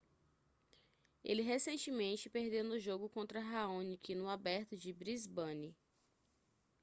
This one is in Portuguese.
ele recentemente perdeu no jogo contra raonic no aberto de brisbane